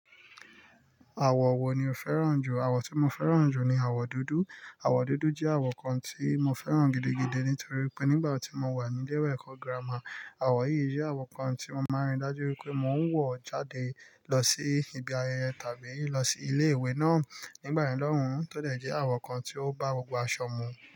Àwọ̀ wo ni o fẹ́ràn jù? Àwọ̀ tí mo fẹ́ràn jù ni àwọ̀ dúdú. Àwọ̀ dúdú jẹ́ àwọ̀ kan tí mo fẹ́ràn gidigidi nítorí pé nígbà tí mo wà ní ile ẹ̀kọ́ girama, àwọ̀ yìí jẹ́ àwọ̀ kan tí mo máa ń rí dájú wípé mo ń wọ̀ jáde lọ sí ibi ayẹyẹ tàbí lọ sí ilé ìwé náà nígbà ye lọ́hùn ún tódẹ̀ jẹ́ àwọ̀ kan tí ó bá gbogbo aṣọ mú.